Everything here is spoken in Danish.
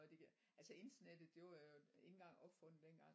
Det giver altså internettet det var jo ikke engang opfundet dengang